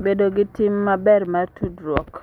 Bedo gi tim maber mar tudruok